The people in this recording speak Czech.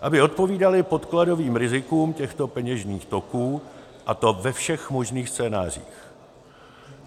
aby odpovídaly podkladovým rizikům těchto peněžních toků, a to ve všech možných scénářích.